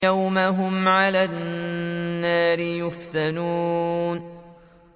يَوْمَ هُمْ عَلَى النَّارِ يُفْتَنُونَ